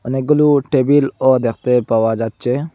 অনেকগুলো টেবিলও দেখতে পাওয়া যাচ্ছে।